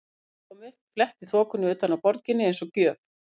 Sólin kom upp, fletti þokunni utan af borginni eins og gjöf.